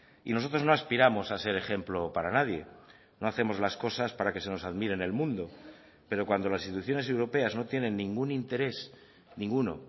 y nosotros no aspiramos a ser ejemplo para nadie no hacemos las cosas para que se nos admire en el mundo pero cuando las instituciones europeas no tienen ningún interés ninguno